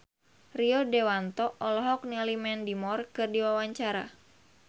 Rio Dewanto olohok ningali Mandy Moore keur diwawancara